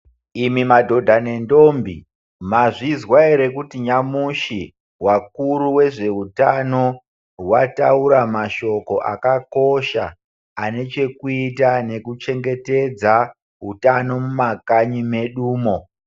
Imi madhodha nentombi mazvizwa ere kuti nyamushi vakuru vezveutano vataura mashoko akakosha ane chekuita nekuchengetedza utano mumakanyi mwedumwo.